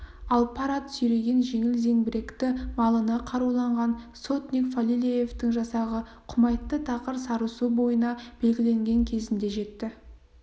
ал пар ат сүйреген жеңіл зеңбіректі малына қаруланған сотник фалилеевтің жасағы құмайтты тақыр сарысу бойына белгіленген кезінде жетті